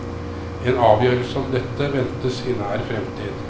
En avgjørelse om dette ventes i nær fremtid.